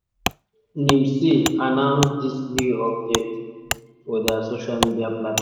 nimc announce dis new update for dia social media platforms.